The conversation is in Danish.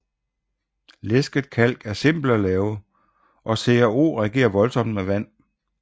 Læsket kalk er simpelt at lave og CaO reagerer voldsomt med vand